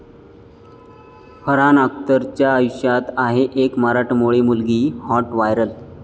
फरहान अख्तरच्या आयुष्यात आहे एक मराठमोळी मुलगी, हाॅट व्हायरल